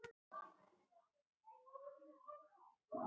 Brosmildi ritarinn tekur eitt nýju bréfanna og les upphátt